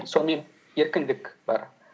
сонымен еркіндік бар